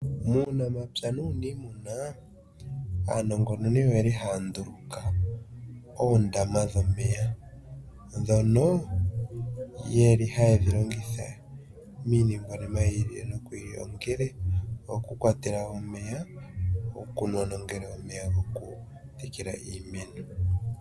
Muunamapya nuunimuna aanongononi oya nduluka oondama dhomeya , ndhono hadhi pungula omeya gokunwa nokutekela iimeno.